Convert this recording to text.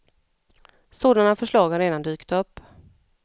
Sådana förslag har redan dykt upp.